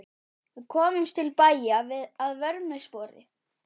Við komumst til bæja að vörmu spori.